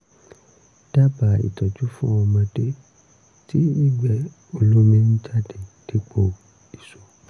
dábàá ìtọ́jú fún ọmọdé tí ìgbẹ́ olómi ń jáde dípò isó